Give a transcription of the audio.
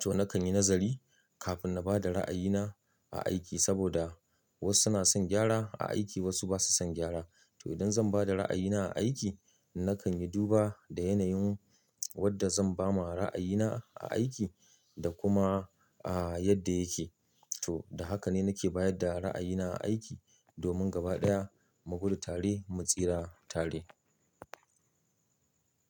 To, nakan yi nazari kafin na ba da ra'ayina a aiki saboda wasu suna son gyara a aiki wasu basa son gyara. To, idan zan ba da ra'ayina a aiki nakan yi duba da yanayin wadda zan ba ma ra'ayina a aiki da kuma, yadda yake. To, da haka ne nake bayar da ra'ayina a aiki domin gaba ɗaya mu gudu tare mu tsira tare.